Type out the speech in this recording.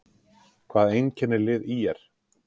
Hvað einkennir lið ÍR?